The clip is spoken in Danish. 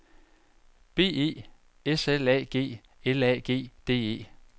B E S L A G L A G D E